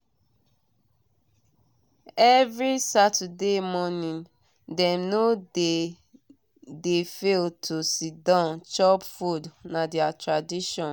every saturday morning dem no dey no dey fail to do siddon chop food na their tradition.